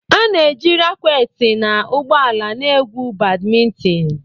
A na-eji rakweti na ụgbọ ala na-egwu Badimintin.